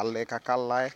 alɛnɛ aka laɛ